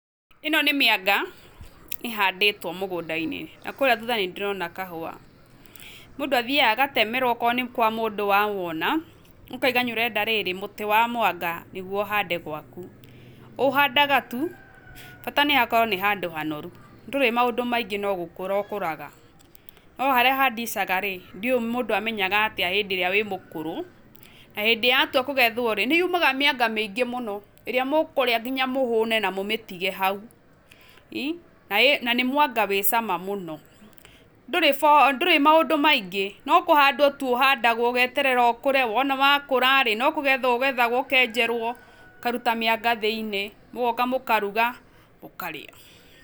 ĩno nĩ mĩanga ĩhandĩtwo mũgũnda-inĩ na kũrĩa thutha nĩ ndĩrona kahũa, mũndũ athiaga agatemerwo okorwo nĩ kwa mũndũ wawona, ũkauga nĩ ũrenda rĩrĩ mũtĩ wa mwanga nĩguo ũhande gwaku, ũhandaga tu, bata nĩhakorwo nĩ hakorwo nĩ handũ hanoru. Ndũrĩ maũndũ maingĩ no gũkũra ukũraga, no harĩa handicaga rĩ ndiũĩ mũndũ amenyaga atĩa hĩndĩ ĩrĩa wĩ mũkũrũ, na hĩndĩ yatua kũgethwo-rĩ, nĩ yumaga mĩanga mĩingĩ mũno ĩrĩa mũkũrĩa mũhũne na mũmĩtige hau i, na nĩ mwanga wĩ cama mũno. Ndũrĩ maũndũ maingĩ no kũhandwo tu ũhandagwo ũgeterera ũkũre, wona wakũra rĩ no kũgetha ũgethgwo ũkenjerwo ũkaruta mĩanga thĩiniĩ, mũgoka mũkaruga, mũkarĩa.